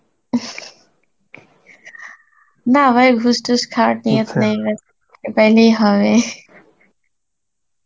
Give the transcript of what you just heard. না ভাই ঘুস টুস খাওয়ার Hindi নেই ভাই, তাইলেই হবে.